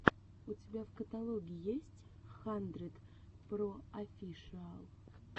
у тебя в каталоге есть хандридпроофишиал